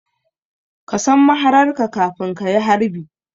Ka san mahararka kafin ka yi harbi